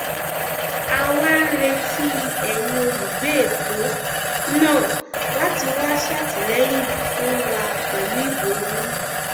a wá ń retí ẹyin olùgbé èkó náà láti wáá ṣàtìlẹyìn fún wa pẹlú ìbò yín